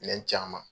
Minɛn caman